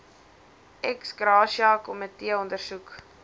ex gratia komiteeondersoek